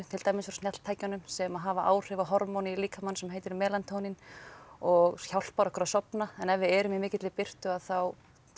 til dæmis frá sem hafa áhrif á hormón í líkamanum sem heitir og hjálpar okkur að sofna en ef við erum í mikilli birtu þá